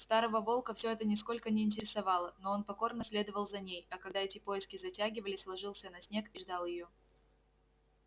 старого волка всё это нисколько не интересовало но он покорно следовал за ней а когда эти поиски затягивались ложился на снег и ждал её